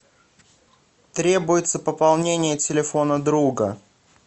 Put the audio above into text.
требуется пополнение телефона друга